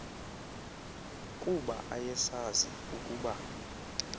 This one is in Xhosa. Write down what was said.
kuba ayesazi ukuba